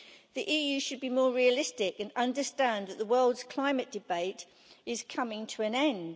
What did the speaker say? The EU should be more realistic and understand that the world's climate debate is coming to an end.